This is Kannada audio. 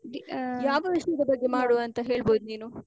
ಆಹ್ ಯಾವ ವಿಷಯದ ಬಗ್ಗೆ ಮಾಡುವ ಅಂತ ಹೇಳ್ಬೋದ್ ನೀನು?